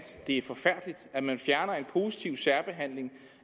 det er forfærdeligt at man fjerner en positiv særbehandling